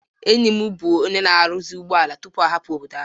Enyi m bụ onye na-arụzi ụgbọala tupu ọ hapụ obodo ahụ